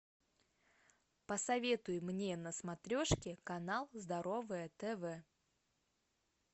посоветуй мне на смотрешке канал здоровое тв